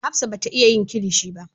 Hafsat bata Iya yin kilishi ba.